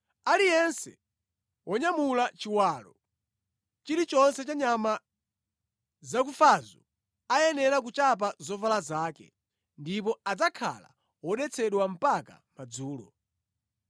Aliyense wonyamula chiwalo chilichonse cha nyama zakufazo ayenera kuchapa zovala zake, ndipo adzakhala wodetsedwa mpaka madzulo.